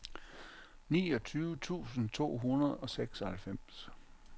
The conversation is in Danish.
niogtyve tusind to hundrede og seksoghalvfems